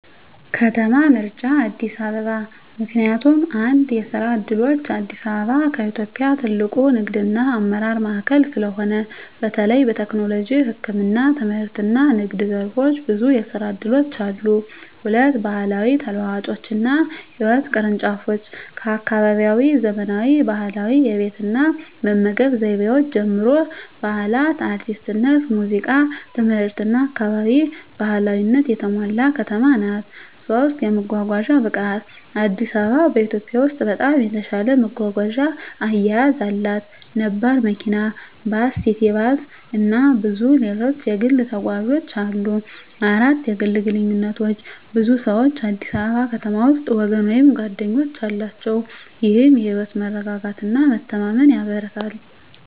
ከተማ ምርጫ አዲስ አበባ ምክንያቱም፦ 1. የስራ ዕድሎች: አዲስ አበባ ከኢትዮጵያ ትልቁ ንግድና አመራር ማዕከል ስለሆነ፣ በተለይ በቴክኖሎጂ፣ ህክምና፣ ትምህርትና ንግድ ዘርፎች ብዙ የስራ እድሎች አሉ። 2. ባህላዊ ተለዋዋጮችና ህይወት ቅርንጫፎች: ከአካባቢያዊ ዘመናዊ ባህላዊ የቤት እና መመገብ ዘይቤዎች ጀምሮ፣ በዓላት፣ አርቲስትነት፣ ሙዚቃ፣ ትምህርትና አካባቢ ባህላዊነት የተሞላ ከተማ ናት። 3. የመጓጓዣ ብቃት: አዲስ አበባ በኢትዮጵያ ውስጥ በጣም የተሻለ መጓጓዣ አያያዝ አላት። ነባር መኪና፣ ባስ፣ ሲቲ ባስ፣ እና ብዙ ሌሎች የግል ተጓዦች አሉ። 4. የግል ግንኙነቶች: ብዙ ሰዎች አዲስ አበባ ከተማ ውስጥ ወገን ወይም ጓደኞች አላቸው፣ ይህም የህይወት መረጋጋትና መተማመን ያበረታታል።